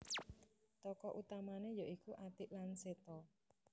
Tokoh utamane ya iku Atik lan Seto